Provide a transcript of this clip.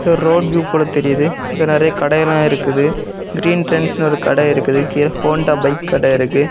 இது ஒரு road view போல தெரியுது இங்க நெறைய கடையெல்லா இருக்குது க்ரீன் டிரெண்ட்ஸ்நு ஒரு கட இருக்குது கீழ ஹோண்டா பைக் கட இருக்கு.